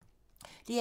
DR2